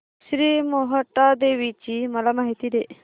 श्री मोहटादेवी ची मला माहिती दे